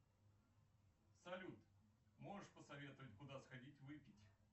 салют можешь посоветовать куда сходить выпить